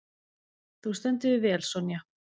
Þú stendur þig vel, Sonja!